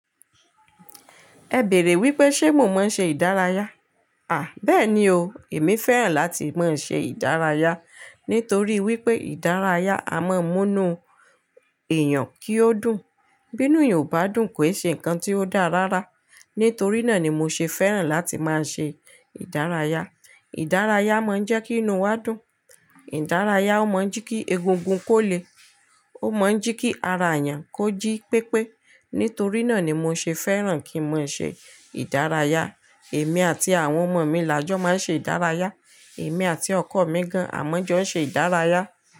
Ẹ bèèrè wípé ṣe mo máa ń ṣe ìdárayá? Àh, bẹ́ẹ̀ ni o. Èmi fẹ́ràn láti máa ń ṣe ìdárayá nítorí wípé ìdárayá a máa ń mú inú èèyàn kí ó dùn. Bínú eeyan ò bá dùn kò ṣe ǹkan tí ó dáa rárá. Nítorí náà ni mo ṣe fẹ́ràn láti máa ṣe ìdárayá. Ìdárayá máa ń jẹ́ kí inú wa dùn. Ìdárayá ó mọ̀ ń jí kí egungun kó le, ó mọ̀ ń jí kí ara èèyàn kó jí pépé. Nítorí náà ni mo ṣe fẹ́ràn kí n máa ṣe ìdárayá. Èmi àti àwọn ọmọ mi làjọ́ máa ń ṣe ìdárayá. Èmi àti ọkọ mi gan-an àmọ́jọ́ ń ṣe ìdárayá.